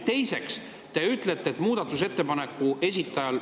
Teiseks, te ütlesite, et muudatusettepaneku esitajal …